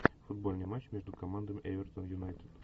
футбольный матч между командами эвертон юнайтед